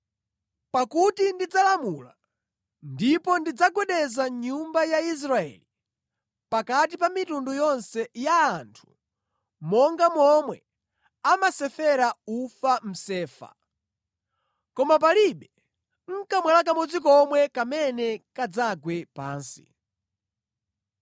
“Pakuti ndidzalamula, ndipo ndidzagwedeza nyumba ya Israeli pakati pa mitundu yonse ya anthu monga momwe amasefera ufa mʼsefa, koma palibe nʼkamwala kamodzi komwe kamene kadzagwe pansi.